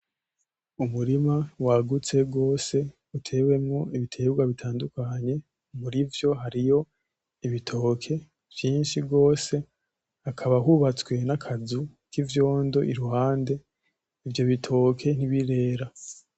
Umurima wagutse gwose utewemwo ibitegwa bitandukanye murivyo hariyo:ibitoke vyinshi gwose hakaba hubatswe nakazu k’ivyondo iruhande ivyo bitoke ntibirera.